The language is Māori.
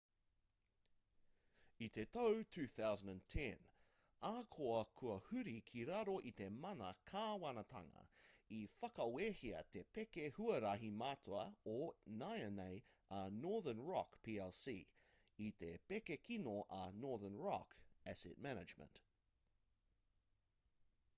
i te tau 2010 ahakoa kua huri ki raro i te mana kāwanatanga i whakawehea te pēke huarahi matua o nāianei a northern rock plc i te pēke kino a northern rock asset management